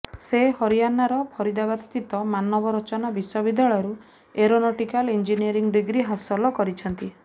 ସେ ହରିୟାଣାର ଫରିଦାବାଦସ୍ଥିତ ମାନବ ରଚନା ବିଶ୍ବବିଦ୍ୟାଳୟରୁ ଏରୋନଟିକାଲ ଇଞ୍ଜିନିୟରିଂ ଡିଗ୍ରୀ ହାସଲ କରିଛନ୍ତି